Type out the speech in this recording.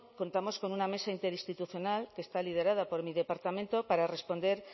contamos con una mesa interinstitucional que está liderada por mi departamento para responder